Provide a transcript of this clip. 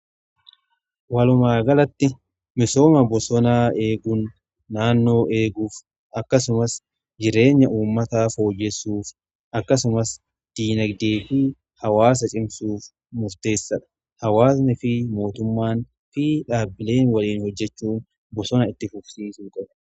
Walumaagalatti misooma bosonaa eeguun naannoo eeguuf akkasumas jireenya uummataa fooyyessuuf akkasumas diinagdeefi hawaasa cimsuuf murteessaadha. Hawaasni fi mootummaan fi dhaabbileen waliin hojjechuu bosona itti fufsiisuu qabu.